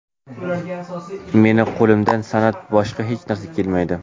Meni qo‘limdan san’atdan boshqa hech narsa kelmaydi.